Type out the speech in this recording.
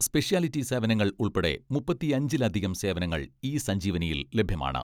Speciality സേവനങ്ങൾ ഉൾപ്പടെ മുപ്പത്തിയഞ്ചിൽ അധികം സേവനങ്ങൾ ഇ സഞ്ജീവനിയിൽ ലഭ്യമാണ്.